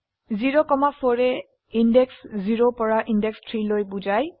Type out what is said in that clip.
0 4 য়ে ইন্দেশ 0 পৰা ইন্দেশ 3 লৈ বোঝায়